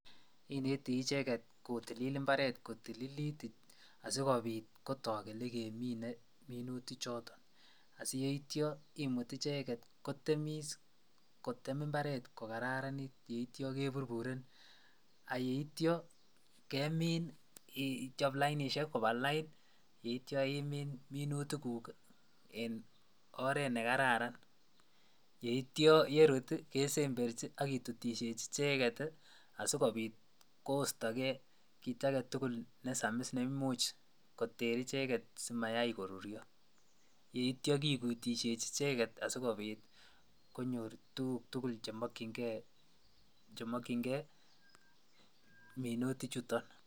Kinete icheket kotem imbaret kotililit asikobiit kotok elekemine minuti choton asiyeityo imut icheket kotemis kotem imbaret ko kararanit yeityo keburburen ak yeityo kemin ichop lainishek ichop lainishek kobaa lain yeityo imiin minutikuk en oreet nekararan yeityo yerut kesemberchi ak kitutisheji icheket asikobit kostokee kiit aketukul nesamis neimuch koter icheket simayai korut, yeityo kikutisheji icheket asikobit konyor tukuk tukul chemokying'e minutichoton.